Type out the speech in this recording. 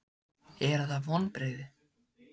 Eru það vonbrigði?